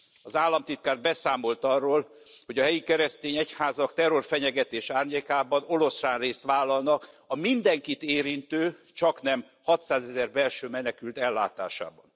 Az államtitkár beszámolt arról, hogy a helyi keresztény egyházak terrorfenyegetés árnyékában oroszlánrészt vállalnak a mindenkit érintő csaknem hatszázezer belső menekült ellátásában.